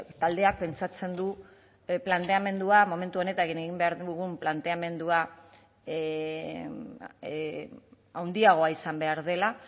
taldeak pentsatzen du planteamendua momentu honetan egin behar dugun planteamendua handiagoa izan behar dela